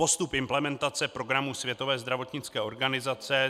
Postup implementace programu Světové zdravotnické organizace